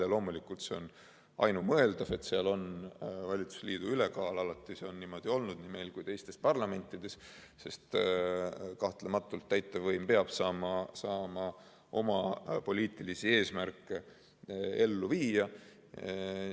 Ja loomulikult see on ainumõeldav, et seal on valitsusliidu ülekaal, see on alati niimoodi olnud nii meil kui ka teistes parlamentides, sest kahtlematult täitevvõim peab saama oma poliitilisi eesmärke ellu viia.